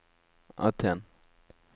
Aten